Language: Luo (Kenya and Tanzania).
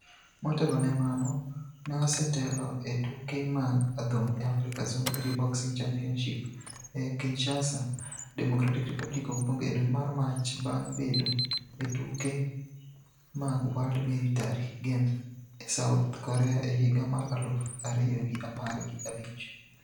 Motelo ne mano, ne osetelo e tuke mag adhong' e Africa Zone Three Boxing Championships e Kinshasa, Democratic Republic of Congo e dwe mar Mach bang' bedo e tuke mag World Military Games e South Korea e higa mar aluf ariyo gi apar gi abich.